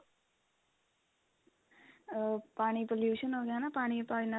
ah ਪਾਣੀ pollution ਹੋ ਗਿਆ ਨਾ ਪਾਣੀ ਪਾਣੀ ਨਾ